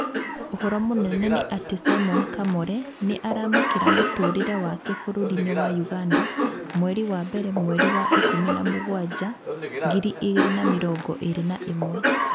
ũhoro mũnene nĩ atĩ Simon Kamore nĩ aramakĩra mũtũrĩe wake bũrũri-inĩ wa ũganda mweri wa mbere mweri wa ikũmi na mũgwanja ngiri igĩrrĩ na mĩrongo ĩrĩ na ĩmwe.